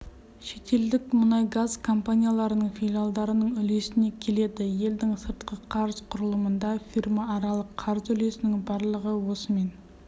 шетелдік мұнайгаз компанияларының филиалдарының үлесіне келеді елдің сыртқы қарыз құрылымында фирмааралық қарыз үлесінің барлығы осымен